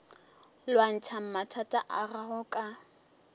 lwantšha mathata a gago ka